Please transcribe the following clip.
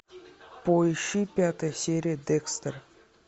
поищи пятая серия декстер